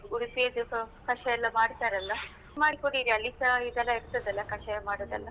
ಉಡುಪಿಯದ್ದು ಕಷಾಯ ಎಲ್ಲ ಮಾಡ್ತಾರಲ್ಲ ಮಾಡಿ ಕುಡಿರಿ ಅಲ್ಲಿಸ ಇದೆಲ್ಲ ಇರ್ತದಲ್ಲ ಕಷಾಯ ಮಾಡುದೆಲ್ಲ.